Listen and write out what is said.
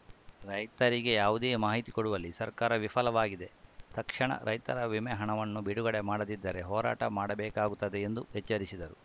ರೈತರಿಗೆ ಯಾವುದೇ ಮಾಹಿತಿಕೊಡುವಲ್ಲಿ ಸರ್ಕಾರ ವಿಫಲವಾಗಿದೆ ತಕ್ಷಣ ರೈತರ ವಿಮೆಹಣವನ್ನು ಬಿಡುಗಡೆ ಮಾಡದಿದ್ದರೆ ಹೋರಾಟ ಮಾಡಬೇಕಾಗುತ್ತದೆ ಎಂದು ಎಚ್ಚರಿಸಿದರು